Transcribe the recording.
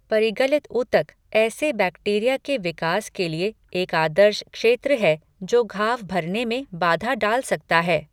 परिगलित ऊतक ऐसे बैक्टीरिया के विकास के लिए एक आदर्श क्षेत्र है, जो घाव भरने में बाधा डाल सकता है।